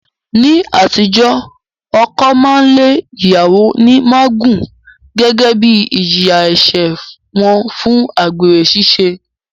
Ní àtijọ́, ọkọ máa lé ìyàwó ní mágùn gẹ́gẹ́ bí ìjìyà ẹ̀ṣẹ̀ wọn fún àgbèrè ṣiṣẹ́